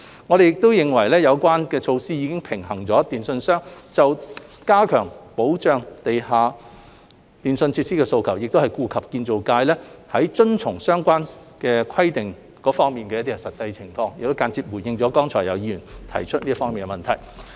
我們認為有關措施已經平衡了電訊商加強保障地下電訊設施的訴求，同時亦顧及建造業界在遵從相關規定方面的實際情況，亦間接回應了剛才有議員所提出這方面的問題。